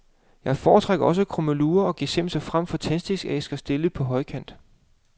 Jeg foretrækker også krummelurer og gesimser frem for tændstikæsker stillet på højkant.